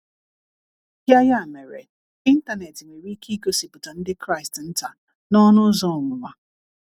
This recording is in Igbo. Ya Ya mere, Ịntanet nwere ike igosipụta ndị Kraịst nta n’ọnụ ụzọ ọnwụnwa.